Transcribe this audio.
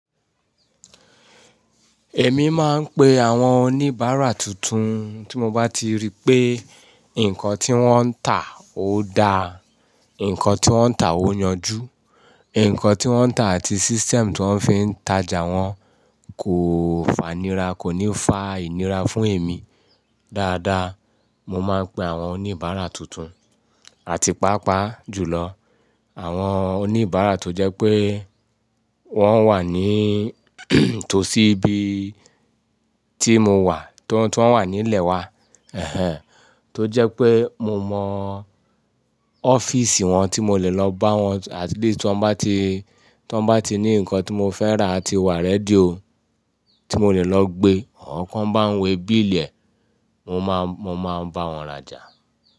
Èmi máa ń pe àwọn oníbàárà tuntun tí mo bá ti rí pé nǹkan tí wọ́n ń tà ó da, nǹkan tí wọ́n ń tà ó yanjú, nǹkan tí wọ́n ń tà àti system tí wọ́n fi ń tajà wọ́n kò fanira, kò ní fa ìnira fún èmi dáadáa. Mo máa ń pe àwọn oníbàárà tuntun àti pàápàá jùlọ àwọn oníbàra tó jẹ́ pé wọn wà ní tòsí ibi tí mo wà tí wọn wà nílé wa eheh tó jẹ́ pé mo mọ ọ́fíìsì wọn tí mo le lọ bá wọn at least tí wọ́n bá ti, tí wọ́n bá ti ní nǹkan tí mo fẹ́ rà àti wà rẹ́díò tí mo le lọ gbé, àwọn kan bá ń wẹ bí ilẹ̀, mo máa, mo máa bá wọn rajà.